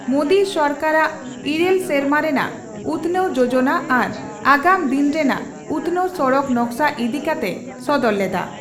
ᱢᱳᱫᱤ ᱥᱚᱨᱠᱟᱨᱟᱜ ᱤᱨᱟᱹᱞ ᱥᱮᱨᱢᱟ ᱨᱮᱱᱟᱜ ᱩᱛᱷᱱᱟᱹᱣ ᱡᱚᱡᱚᱱᱟ ᱟᱨ ᱟᱜᱟᱢ ᱫᱤᱱ ᱨᱮᱱᱟᱜ ᱩᱛᱷᱱᱟᱹᱣ ᱥᱚᱲᱚᱠ ᱱᱚᱠᱥᱟ ᱤᱫᱤ ᱠᱟᱛᱮᱭ ᱥᱚᱫᱚᱨ ᱞᱮᱫᱼᱟ ᱾